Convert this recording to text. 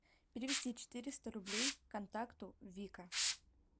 перевести четыреста рублей контакту вика